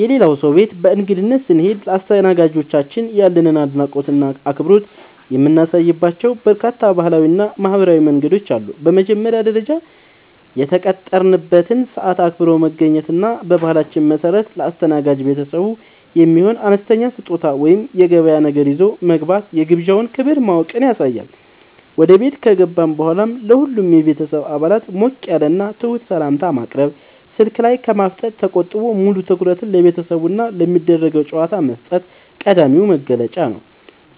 የሌላ ሰው ቤት በእንግድነት ስንሄድ ለአስተናጋጆቻችን ያለንን አድናቆትና አክብሮት የምናሳይባቸው በርካታ ባህላዊና ማኅበራዊ መንገዶች አሉ። በመጀመሪያ ደረጃ፣ የተቀጠረበትን ሰዓት አክብሮ መገኘት እና በባህላችን መሠረት ለአስተናጋጅ ቤተሰቡ የሚሆን አነስተኛ ስጦታ ወይም የገበያ ነገር ይዞ መግባት የግብዣውን ክብር ማወቅን ያሳያል። ወደ ቤት ከገባን በኋላም ለሁሉም የቤተሰብ አባላት ሞቅ ያለና ትሑት ሰላምታ ማቅረብ፣ ስልክ ላይ ከማፍጠጥ ተቆጥቦ ሙሉ ትኩረትን ለቤተሰቡና ለሚደረገው ጨዋታ መስጠት ቀዳሚው መገለጫ ነው።